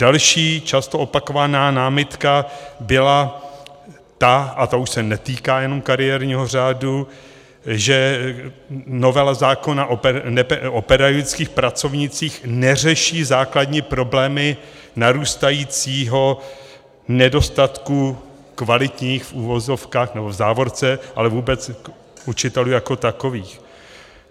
Další často opakovaná námitka byla ta, a to už se netýká jenom kariérního řádu, že novela zákona o pedagogických pracovnících neřeší základní problémy narůstajícího nedostatku kvalitních, v uvozovkách nebo v závorce, ale vůbec učitelů jako takových.